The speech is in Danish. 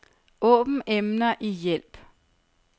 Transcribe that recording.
Åbn emner i hjælp.